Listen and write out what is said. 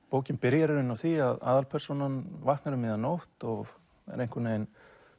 bókin byrjar í rauninni á því að aðalpersónan vaknar um miðja nótt og er einhvern veginn